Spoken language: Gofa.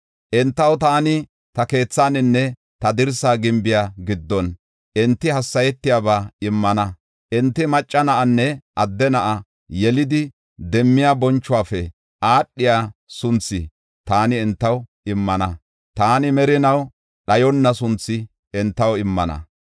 entaw taani ta keethaninne ta dirsa gimbiya giddon enti hassayetiyaba immana. Enti macca na7anne adde na7a yelidi, demmiya bonchuwafe aadhiya sunthi taani entaw immana; taani merinaw dhayonna sunthi entaw immana.